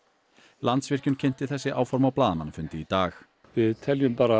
Landsvirkjun kynnti þessi áform á blaðamannafundi í dag við teljum bara